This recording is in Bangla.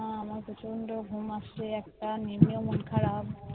হম আমার প্রচন্ড ঘুম আসছে একটান নিলেও মনখারাপ